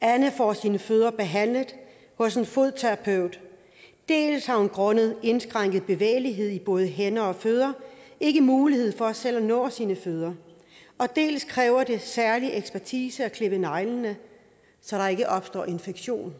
anne får sine fødder behandlet hos en fodterapeut dels har hun grundet indskrænket bevægelighed i både hænder og fødder ikke mulighed for selv at nå sine fødder dels kræver det særlig ekspertise at klippe neglene så der ikke opstår en infektion